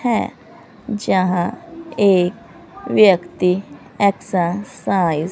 हैं। जहां एक व्यक्ति एक्सरसाइज --